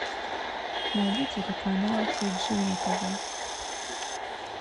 найди телеканал ти джи на тв